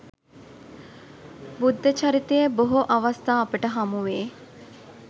බුද්ධ චරිතයේ බොහෝ අවස්ථා අපට හමුවේ.